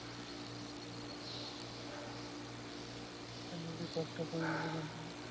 নিজে কষ্ট কৰিলেহে গম পাম।